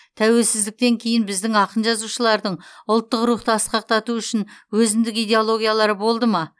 тәуелсіздіктен кейін біздің ақын жазушылардың ұлттық рухты асқақтату үшін өзіндік идеологиялары болды ма